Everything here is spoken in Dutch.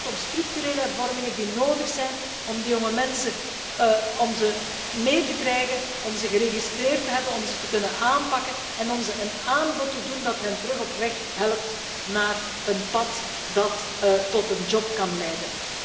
Het gaat om structurele hervormingen die nodig zijn om de jonge mensen mee te krijgen, om ze geregistreerd te hebben, om ze te kunnen aanpakken en om ze een aanbod te doen dat hen weer op weg helpt naar een pad dat tot een job kan leiden.